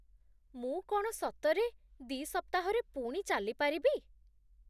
ମୁଁ କ'ଣ ସତରେ ଦି' ସପ୍ତାହରେ ପୁଣି ଚାଲିପାରିବି!